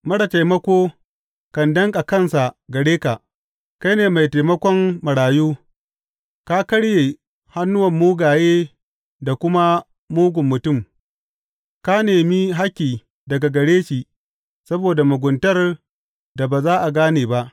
Marar taimako kan danƙa kansa gare ka; kai ne mai taimakon marayu Ka karye hannun mugaye da kuma mugun mutum; ka nemi hakki daga gare shi saboda muguntar da ba za a gane ba.